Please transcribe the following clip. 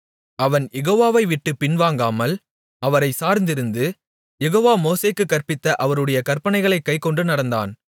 அவன் யெகோவாவைவிட்டுப் பின்வாங்காமல் அவரைச் சார்ந்திருந்து யெகோவா மோசேக்குக் கற்பித்த அவருடைய கற்பனைகளைக் கைக்கொண்டு நடந்தான்